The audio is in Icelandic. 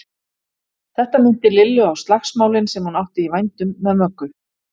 Þetta minnti Lillu á slagsmálin sem hún átti í vændum með Möggu.